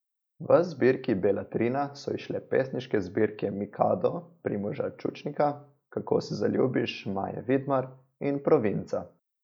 V zbirki Beletrina so izšle pesniške zbirke Mikado Primoža Čučnika, Kako se zaljubiš Maje Vidmar in Provinca.